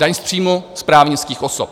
Daň z příjmu z právnických osob.